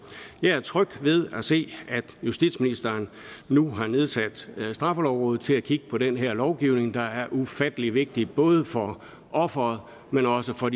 jeg er tryg ved at se at justitsministeren nu har nedsat straffelovrådet til at kigge på den her lovgivning der er ufattelig vigtig både for offeret men også for